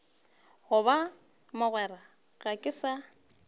goba mogwera ga ke sa